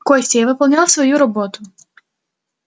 костя я выполнял свою работу